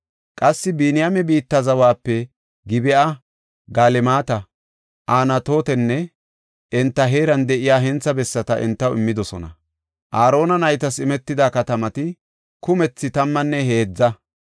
Qassi Biniyaame biitta zawape Gib7a, Galemata, Anatootenne enta heeran de7iya hentha bessata entaw immidosona. Aarona naytas imetida katamati kumethi tammanne heedza.